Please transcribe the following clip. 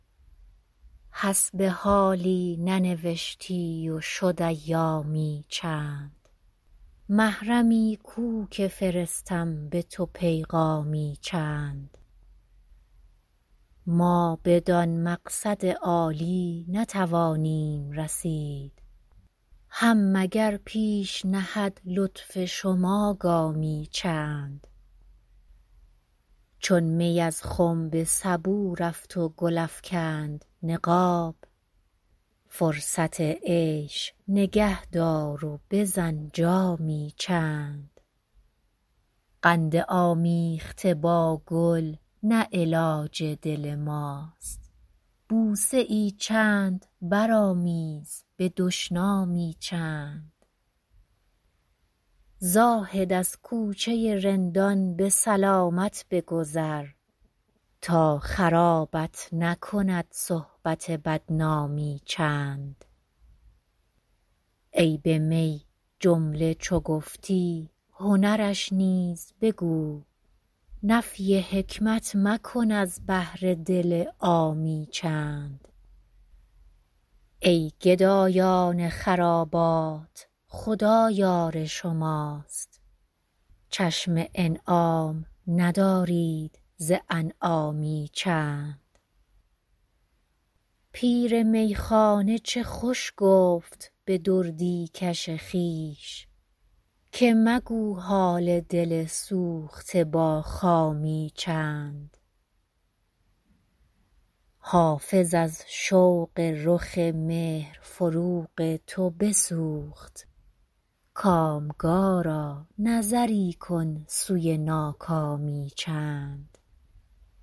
حسب حالی ننوشتی و شد ایامی چند محرمی کو که فرستم به تو پیغامی چند ما بدان مقصد عالی نتوانیم رسید هم مگر پیش نهد لطف شما گامی چند چون می از خم به سبو رفت و گل افکند نقاب فرصت عیش نگه دار و بزن جامی چند قند آمیخته با گل نه علاج دل ماست بوسه ای چند برآمیز به دشنامی چند زاهد از کوچه رندان به سلامت بگذر تا خرابت نکند صحبت بدنامی چند عیب می جمله چو گفتی هنرش نیز بگو نفی حکمت مکن از بهر دل عامی چند ای گدایان خرابات خدا یار شماست چشم انعام مدارید ز انعامی چند پیر میخانه چه خوش گفت به دردی کش خویش که مگو حال دل سوخته با خامی چند حافظ از شوق رخ مهر فروغ تو بسوخت کامگارا نظری کن سوی ناکامی چند